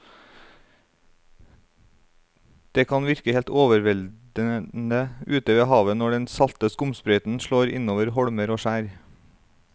Det kan virke helt overveldende ute ved havet når den salte skumsprøyten slår innover holmer og skjær.